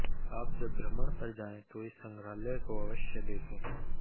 आप जब भ्रमण पर जायें तो इस संग्रहालय को अवश्य देखें